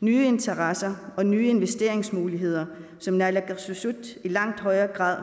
nye interesser og nye investeringsmuligheder som naalakkersuisut i langt højere grad